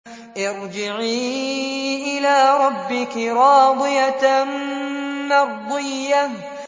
ارْجِعِي إِلَىٰ رَبِّكِ رَاضِيَةً مَّرْضِيَّةً